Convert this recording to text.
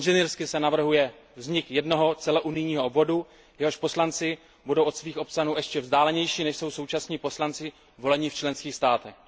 Inženýrsky se navrhuje vznik jednoho celounijního obvodu, jehož poslanci budou od svých občanů ještě vzdálenější, než jsou současní poslanci volení v členských státech.